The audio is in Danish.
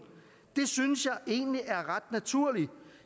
det synes jeg egentlig er ret naturligt